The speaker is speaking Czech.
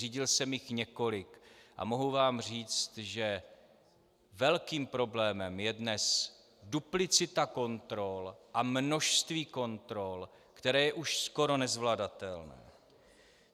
Řídil jsem jich několik a mohu vám říct, že velkým problémem je dnes duplicita kontrol a množství kontrol, které je už skoro nezvladatelné.